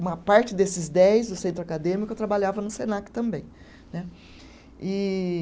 Uma parte desses dez do Centro Acadêmico, eu trabalhava no Senac também né, e